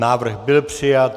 Návrh byl přijat.